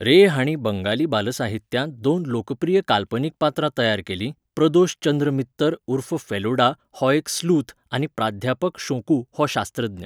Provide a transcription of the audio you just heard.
रे हाणें बंगाली बालसाहित्यांत दोन लोकप्रिय काल्पनीक पात्रां तयार केलीं प्रदोष चंद्र मित्तर उर्फ फेलुडा हो एक स्लूथ आनी प्राध्यापक शोंकू हो शास्त्रज्ञ.